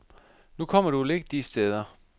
Nu kommer du vel ikke de steder.